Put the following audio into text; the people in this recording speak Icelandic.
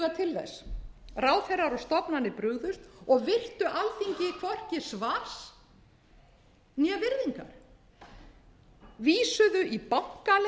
þess ráðherrar og stofnanir brugðust og virtu alþingi hvorki svars né virðingar vísuðu í bankaleynd